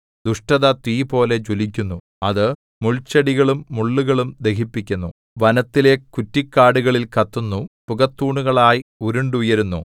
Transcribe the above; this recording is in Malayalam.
ദുഷ്ടത തീപോലെ ജ്വലിക്കുന്നു അത് മുൾച്ചെടികളും മുള്ളുകളും ദഹിപ്പിക്കുന്നു വനത്തിലെ കുറ്റിക്കാടുകളിൽ കത്തുന്നു പുകത്തൂണുകളായി ഉരുണ്ടുയരുന്നു